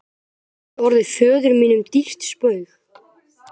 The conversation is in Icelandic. gæti orðið föður mínum dýrt spaug.